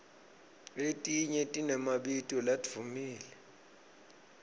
letinye tinemabito ladvumile